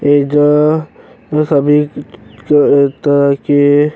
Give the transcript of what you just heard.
एज सभी तरह के --